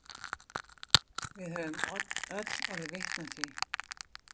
Við höfum öll orðið vitni að því.